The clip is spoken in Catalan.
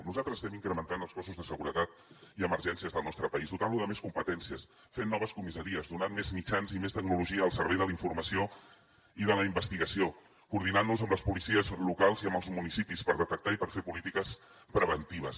nosaltres estem incrementant els cossos de seguretat i emergències del nostre país dotant los de més competències fent noves comissaries donant més mitjans i més tecnologia al servei de la informació i de la investigació coordinant nos amb les policies locals i amb els municipis per detectar i per fer polítiques preventives